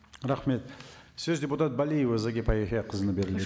рахмет өз депутат балиева зағипа яхияқызына